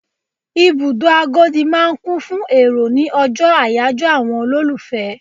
Ibùdó Agodi máa ń kún fún èrò ni ọjọ́ àyájọ́ àwọn olólùfẹ́.